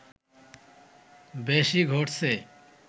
বেশি ঘটছে